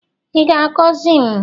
Ị ga-agọzi m?